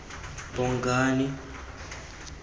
bongane